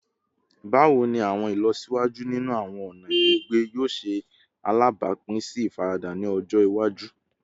Bawo ni awọn ilọsiwaju ninu awọn ọna gbigbe yoo ṣe alabapin si ifarada ni ọjọ iwaju?